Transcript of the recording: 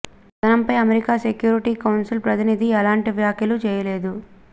ఈ కథనంపై America security council ప్రతినిధి ఎలాంటి వ్యాఖ్యలూ చేయలేదు